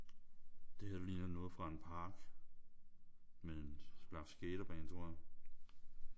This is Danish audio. Det her det ligner noget fra en park med en slags skaterbane tror jeg